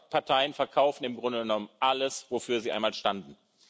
Beide Parteien verkaufen im Grunde genommen alles, wofür sie einmal standen.